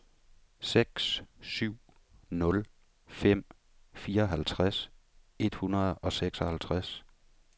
seks syv nul fem fireoghalvtreds et hundrede og seksoghalvtreds